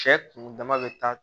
Cɛ kun dama be taa